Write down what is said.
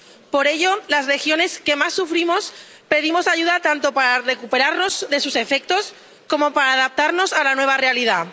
Por ello, las regiones que más sufrimos pedimos ayuda, tanto para recuperarnos de sus efectos, como para adaptarnos a la nueva realidad.